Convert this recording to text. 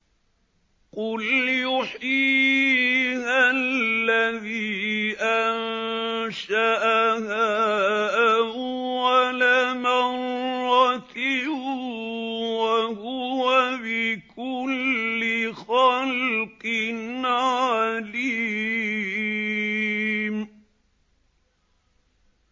قُلْ يُحْيِيهَا الَّذِي أَنشَأَهَا أَوَّلَ مَرَّةٍ ۖ وَهُوَ بِكُلِّ خَلْقٍ عَلِيمٌ